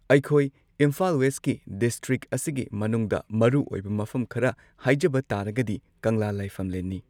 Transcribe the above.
ꯑꯩꯈꯣꯏ ꯏꯝꯐꯥꯜ ꯋꯦꯁꯠꯀꯤ ꯗꯤꯁꯇ꯭ꯔꯤꯛ ꯑꯁꯤꯒꯤ ꯃꯅꯨꯡꯗ ꯃꯔꯨꯑꯣꯏꯕ ꯃꯐꯝ ꯈꯔ ꯍꯥꯏꯖꯕ ꯇꯥꯔꯒꯗꯤ ꯀꯪꯂꯥ ꯂꯥꯏꯐꯝꯂꯦꯟꯅꯤ꯫